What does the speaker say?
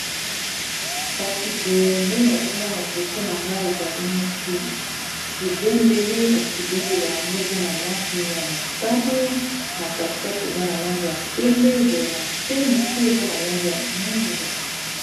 kasi boye nde nazomona liboso na ngai ezali neti ebendele kasi ebendele yango eza na langi ya motane na katikati eza na langi ya pembe eboye na se moke eza na langi ya mwindu